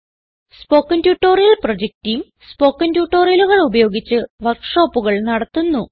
spoken tutorial project team spoken ട്യൂട്ടോറിയലുകൾ ഉപയോഗിച്ച് വർക്ക് ഷോപ്പുകൾ നടത്തുന്നു